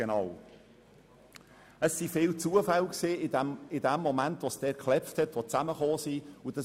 Im Moment, als es in Spiez zum Knall kam, spielten viele Zufälle eine Rolle.